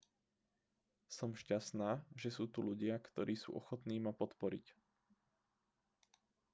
som šťastná že sú tu ľudia ktorí sú ochotní ma podporiť